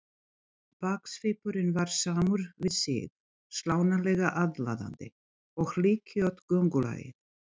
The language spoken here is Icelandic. Baksvipurinn var samur við sig, slánalega aðlaðandi, og hlykkjótt göngulagið.